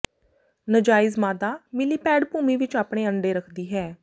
ਨਜਾਇਜ਼ ਮਾਦਾ ਮਿਲੀਪੈਡ ਭੂਮੀ ਵਿਚ ਆਪਣੇ ਅੰਡੇ ਰੱਖਦੀ ਹੈ